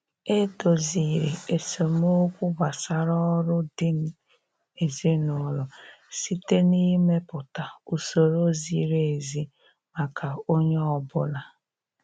E doziri esemokwu gbasara ọrụ di ezin'ụlọ site na-ịmepụta usoro ziri ezi maka onye ọbụla.